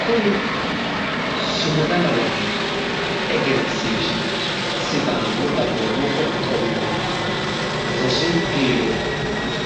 Kuni sumusmda lawanno egensiishshi sidaamu dagoomu qoqqowi mootimma rosu biiro